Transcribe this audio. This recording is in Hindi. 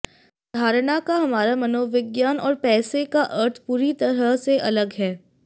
धारणा का हमारा मनोविज्ञान और पैसे का अर्थ पूरी तरह से अलग है